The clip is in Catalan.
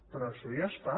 però això ja es fa